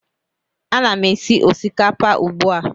Ana m esi osikapa ugbu a